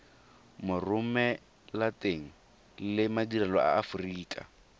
moromelateng le madirelo a aforika